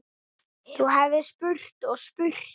Þú hefðir spurt og spurt.